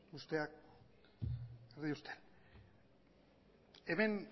usteak erdi ustel hemen